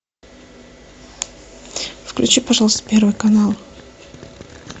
включи пожалуйста первый канал